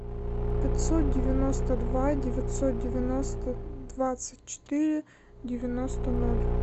пятьсот девяносто два девятьсот девяносто двадцать четыре девяносто ноль